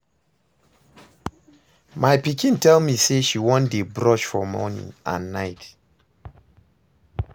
My pikin tell me say she wan dey brush for morning and night